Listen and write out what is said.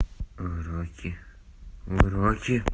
уроки уроки